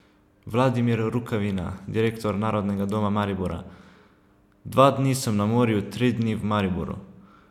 Vladimir Rukavina, direktor Narodnega doma Maribora: "Dva dni sem na morju, tri dni v Mariboru.